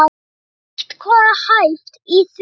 Er eitthvað hæft í því?